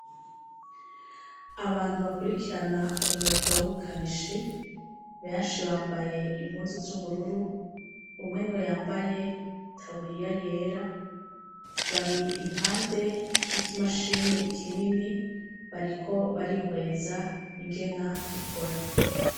Abantu bakurikirana umugaw'ubukanishi benshi bambaye impuzu z'ubururu umwe ni we yambaye itaburiya yera bari impande y'ikimashini kinini bariko barihweza ingena gikora.